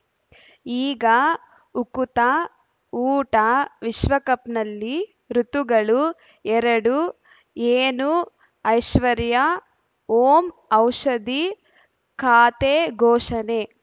ಈಗ ಉಕುತ ಊಟ ವಿಶ್ವಕಪ್‌ನಲ್ಲಿ ಋತುಗಳು ಎರಡು ಏನು ಐಶ್ವರ್ಯಾ ಓಂ ಔಷಧಿ ಖಾತೆ ಘೋಷಣೆ